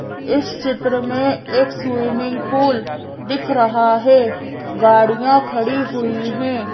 इस चित्र में एक स्विमिंग पूल दिख रहा है गाड़ियाँ खड़ी हुई हैं।